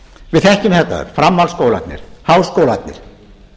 við þekkjum þetta framhaldsskólarnir háskólarnir